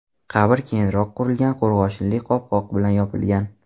Qabr keyinroq qurilgan qo‘rg‘oshinli qopqoq bilan yopilgan.